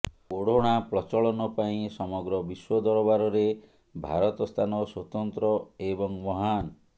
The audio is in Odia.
ଓଢ଼ଣା ପ୍ରଚଳନ ପାଇଁ ସମଗ୍ର ବିଶ୍ୱଦରବାର ରେ ଭାରତ ସ୍ଥାନ ସ୍ୱତନ୍ତ୍ର ଏବଂ ମହାନ